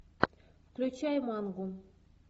включай мангу